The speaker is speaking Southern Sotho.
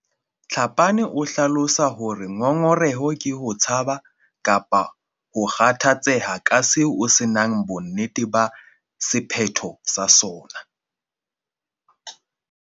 Tlhapane o hlalosa hore ngongoreho ke ho tshaba kapa ho kgathatseha ka seo o se nang bonnete ba sephetho sa sona.